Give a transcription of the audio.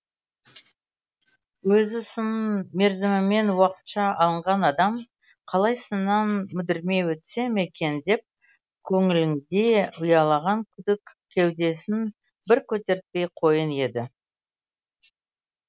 өзі сын мерзімімен уақытша алынған адам қалай сыннан мүдірмей өтсем екен деп көңілінде ұялаған күдік кеудесін бір көтертпей қойын еді